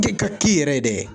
ka k'i yɛrɛ dɛ!